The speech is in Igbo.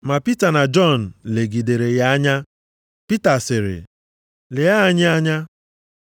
Ma Pita na Jọn legidere ya anya, Pita sịrị, “Lee anyị anya.”